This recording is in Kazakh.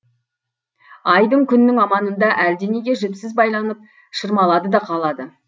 айдың күннің аманында әлденеге жіпсіз байланып шырмалады да қалады